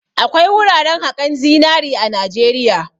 Akwai wuraran haƙan zinari a Najeriya.